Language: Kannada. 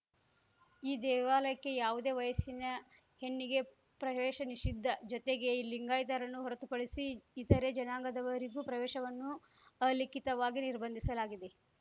ಈ ದೇವಾಲಯಕ್ಕೆ ಯಾವುದೇ ವಯಸ್ಸಿನ ಹೆಣ್ಣಿಗೆ ಪ್ರವೇಶ ನಿಷಿದ್ಧ ಜೊತೆಗೆ ಲಿಂಗಾಯತರನ್ನು ಹೊರತುಪಡಿಸಿ ಇತರೆ ಜನಾಂಗದವರಿಗೂ ಪ್ರವೇಶವನ್ನು ಅಲಿಖಿತವಾಗಿ ನಿರ್ಬಂಧಿಸಲಾಗಿದೆ